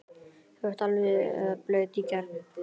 þú ert alveg blaut í gegn!